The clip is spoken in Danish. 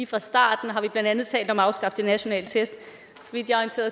fra starten har vi blandt andet talt om at afskaffe de nationale test